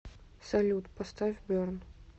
салют поставь берн